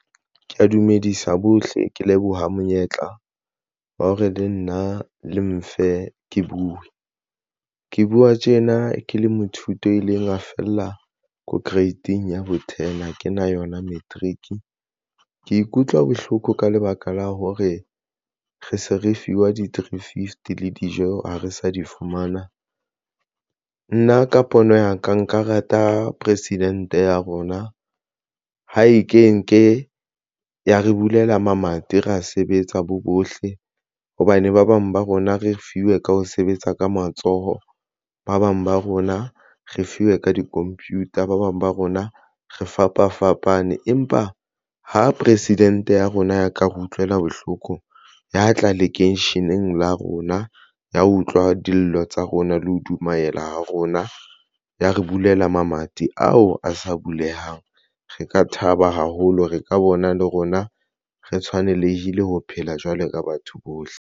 Ke ya dumedisa bohle, ke leboha monyetla wa hore le nna le mfe, ke buwe ke buwa tjena ke le moithuti a ileng a fella ko grade-ing ya bo-ten ha ke na yona matric. Ke ikutlwa bohloko ka lebaka la hore re se re fiwa ke di three fifty le dijo ha re sa di fumana nna ka pono ya ka nka rata president ya rona. Ha e ya re bulela mamati ra sebetsa bo bohle hobane ba bang ba rona re fiwe ka ho sebetsa ka matsoho. Ba bang ba rona re fuwe ka di-computer, ba bang ba rona re fapafapane. Empa ho president ya rona ya ka re utlwela bohloko ya tla lekeisheneng la rona ya utlwa dillo tsa rona le ho dumaela ha rona. Ya re bulela mamati ao a sa bulehang. Re ka thaba haholo re ka bona le rona re tshwane le ho phela jwalo ka batho bohle.